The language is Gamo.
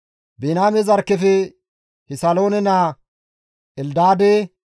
Biniyaame zarkkefe Kisaloone naa Eldaade,